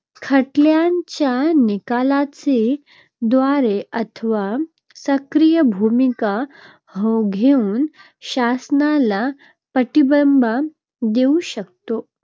खटल्यांच्या निकालाद्वारे अथवा सक्रीय भूमिका घेऊन शासनाला पाठिंबा देऊ शकते.